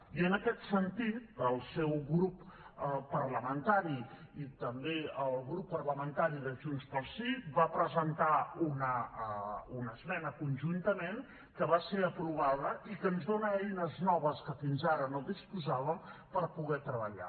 i en aquest sentit el seu grup parlamentari i també el grup parlamentari de junts pel sí van presentar una esmena conjuntament que va ser aprovada i que ens dona eines noves de què fins ara no disposàvem per poder treballar